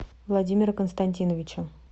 владимира константиновича